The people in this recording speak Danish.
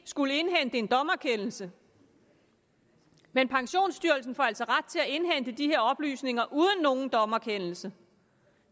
skulle indhente en dommerkendelse men pensionsstyrelsen får altså ret til at indhente de her oplysninger uden nogen dommerkendelse